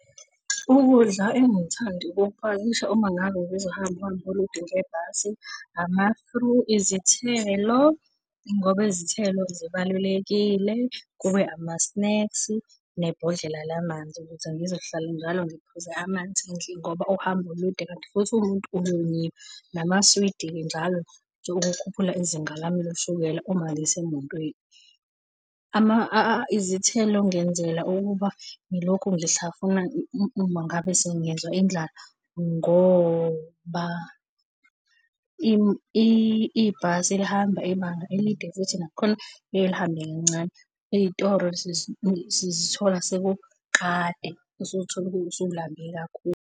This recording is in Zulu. Ukudla engike ngithande ukukupakisha uma ngabe bezohamba uhambo olude ngebhasi ngizohamba uhambo olude ngebhasi, izithelo ngoba izithelo zibalulekile, kube amasineksi nebhodlela lamanzi ukuze ngizohlala njalo ngiphuze amanzi ngoba uhambo olude kanti futhi umuntu namaswidi-ke njalo ukukhuphula izinga lami loshukela uma ngisemotweni. Izithelo ngenzela ukuba ngilokhu ngihlafuna ngabe sengizwa indlala ngoba ibhasi lihamba ibanga elide futhi nakhona liye lihambe kancane. Iy'toro sizithola seku kade usuthola usulambe kakhulu.